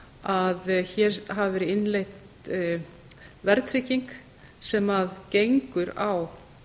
að hér hafi verið innleidd verðtrygging sem gengur á